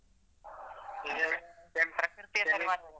ಪ್ರಕೃತಿ ಅಂದ್ರೆ .